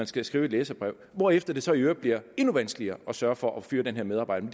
skal skrive et læserbrev hvorefter det så i øvrigt bliver endnu vanskeligere at sørge for at fyre den her medarbejder